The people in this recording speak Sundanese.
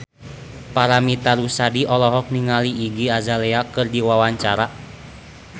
Paramitha Rusady olohok ningali Iggy Azalea keur diwawancara